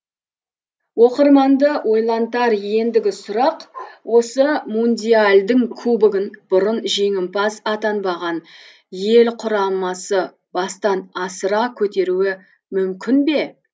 оқырманды ойлантар ендігі сұрақ осы мундиальдың кубогын бұрын жеңімпаз атанбаған ел құрамасы бастан асыра көтеруі мүмкін бе